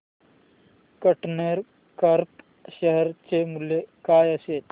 container corp share चे मूल्य काय असेल